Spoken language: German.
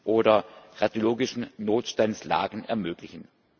oder radiologischen Notstandslagen ermöglichen.